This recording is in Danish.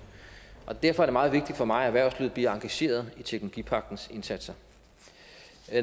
og derfor er det meget vigtigt for mig at erhvervslivet bliver engageret i teknologipagtens indsatser